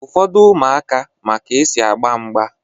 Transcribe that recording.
Ụfọdụ ụmụaka ma ka-esi agba mgba